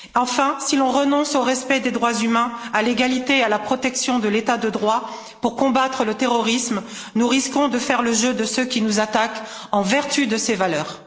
Enfin, si l'on renonce au respect des droits humains, à l'égalité et à la protection de l'état de droit pour combattre le terrorisme, nous risquons de faire le jeu de ceux qui nous attaquent en vertu de ces valeurs.